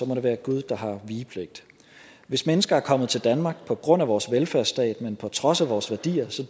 må det være gud der har vigepligt hvis mennesker er kommet til danmark på grund af vores velfærdsstat men på trods af vores værdier